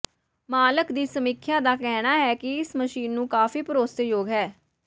ਮਾਲਕ ਦੀ ਸਮੀਖਿਆ ਦਾ ਕਹਿਣਾ ਹੈ ਕਿ ਇਸ ਮਸ਼ੀਨ ਨੂੰ ਕਾਫ਼ੀ ਭਰੋਸੇਯੋਗ ਹੈ